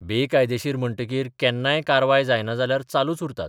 बेकायदेशीर म्हणटकीर केन्नाय कारवाय जायना जाल्यार चालूच उरतात.